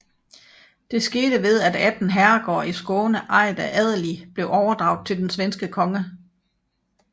Det skete ved at 18 herregårde i Skåne ejet af adelige blev overdraget til den svenske konge